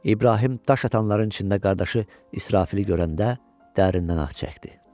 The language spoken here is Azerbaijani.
İbrahim daş atanların içində qardaşı İsrafilı görəndə dərindən ah çəkdi.